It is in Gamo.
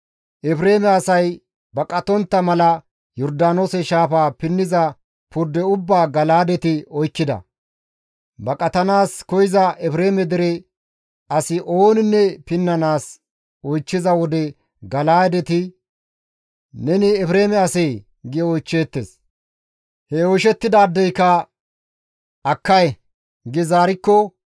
Efreeme asay baqatontta mala Yordaanoose shaafaa pinniza purde ubbaa Gala7aadeti oykkida; baqatanaas koyza Efreeme dere asi ooninne pinnanaas oychchiza wode Gala7aadeti, «Neni Efreeme asee?» gi oychcheettes. He oyshettidaadeyka, «Akkay» gi zaarikko,